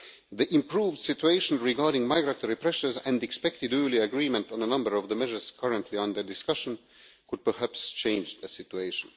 The improved situation regarding migratory pressures, and expected early agreement on a number of the measures currently under discussion, could perhaps change the situation.